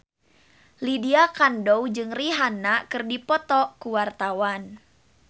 Lydia Kandou jeung Rihanna keur dipoto ku wartawan